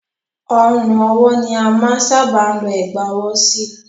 Ọrùn ọwọ́ ni a máa n sábà ọ Ẹ̀gbá ọwọ́ sí